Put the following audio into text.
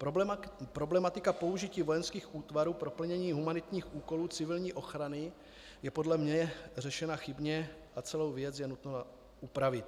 Problematika použití vojenských útvarů pro plnění humanitních úkolů civilní ochrany je podle mě řešena chybně a celou věc je nutno upravit.